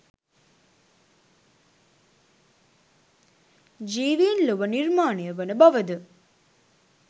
ජීවීන් ලොව නිර්මාණය වන බවද?